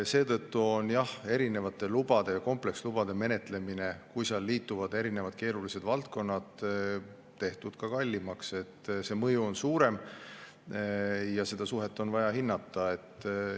Seetõttu on erinevate lubade ja komplekslubade menetlemine, kui seal liituvad erinevad keerulised valdkonnad, tehtud ka kallimaks, see mõju on suurem ja seda suhet on vaja hinnata.